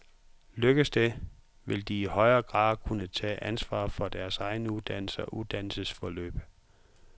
Lykkes det, vil de i højere grad kunne tage ansvar for deres egen uddannelse og uddannelsesforløb.